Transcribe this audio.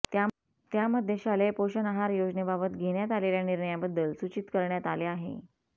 त्यामध्ये शालेय पोषण आहार योजनेबाबत घेण्यात आलेल्या निर्णयाबद्दल सूचित करण्यात आले आहे